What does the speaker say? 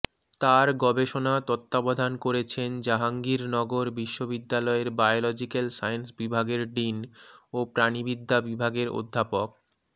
তার গবেষণা তত্ত্বাবধান করেছেন জাহাঙ্গীরনগর বিশ্ববিদ্যালয়ের বায়োলজিক্যাল সায়েন্স বিভাগের ডিন ও প্রাণিবিদ্যা বিভাগের অধ্যাপক ড